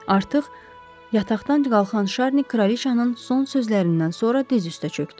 Artıq yataqdan qalxan Şarni kraliçanın son sözlərindən sonra diz üstə çökdü.